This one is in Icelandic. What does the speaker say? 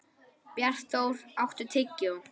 Bjartþór, áttu tyggjó?